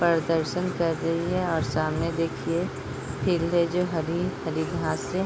प्रदर्शन कर रही है और सामने देखिये फील्ड है जो हरी - हरी घास हे ।